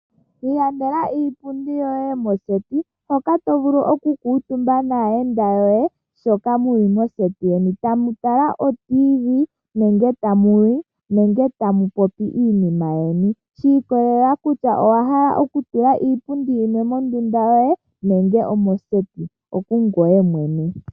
Ilandela iipundi yoye yomoseti, hoka to vulu oku kuutumba naayenda yoye shoka mu li moseti yeni tamu tala otiivi nenge tamu li nenge tamu popi iinima yeni, shi ikolelela kutya owa hala okutula iipundi yimwe mondunda yoye nenge omoseti, okungweye mwene.